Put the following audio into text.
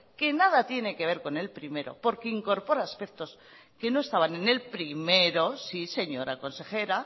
que nada tiene que ver con el primero porque incorpora aspectos que no estaban en el primero sí señora consejera